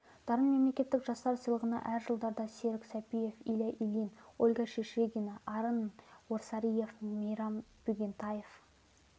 дарын мемлекеттік жастар сыйлығына әр жылдарда серік сәпиев илья ильин ольга шишигина арын орсариев мейрам бегентаев